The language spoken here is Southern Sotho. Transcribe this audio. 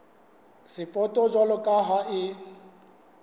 sapoto jwalo ka ha e